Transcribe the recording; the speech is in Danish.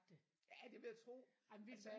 Ja det vil jeg tro altså